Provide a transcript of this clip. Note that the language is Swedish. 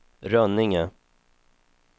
Rönninge